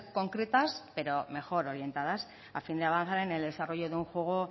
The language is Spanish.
concretas pero mejor orientadas a fin de avanzar en el desarrollo de un juego